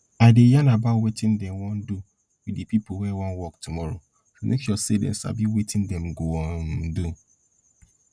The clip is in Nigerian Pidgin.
i dey yarn about wetin dem wan do with de pipo wey wan work tomorrow to make sure dem sabi wetin dem go um do